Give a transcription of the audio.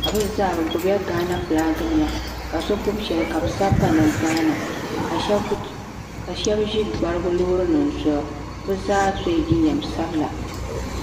ka bɛ zaa bɛ gbibla gana filaaki nima ka bɛ gbibi sheli ka bɛ sabi pa ni gaaama ka Sheba ʒi gbarigu loori nima zuɣu bɛ zaa sola jinjiɛm sabla.